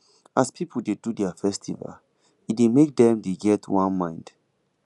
as pipu dey do their festival e dey make dem dey get one mind